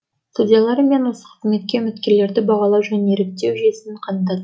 судьялар мен осы қызметке үміткерлерді бағалау және іріктеу жүйесін қандат